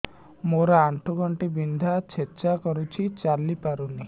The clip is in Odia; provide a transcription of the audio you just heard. ମୋର ଆଣ୍ଠୁ ଗଣ୍ଠି ବିନ୍ଧା ଛେଚା କରୁଛି ଚାଲି ପାରୁନି